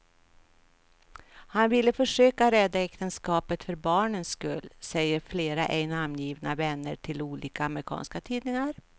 Han vill försöka rädda äktenskapet för barnens skull, säger flera ej namngivna vänner till olika amerikanska tidningar.